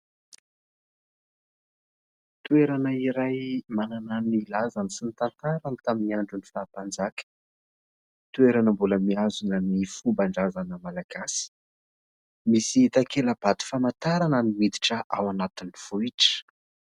Toerana iray mananan'ny lazany sy ny tantarany tamin'ny andro ny faha-mpanjaka, toerana mbola mitazona ny fomban-drazana malagasy, misy takela-bato famantarana ny miditra ao anatin'ny vohitra.